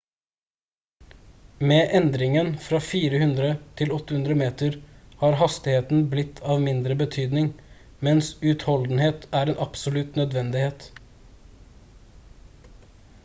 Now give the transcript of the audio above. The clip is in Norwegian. med endringen fra 400 til 800 meter har hastigheten blitt av mindre betydning mens utholdenhet er en absolutt nødvendighet